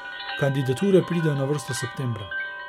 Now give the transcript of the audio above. Kandidature pridejo na vrsto septembra.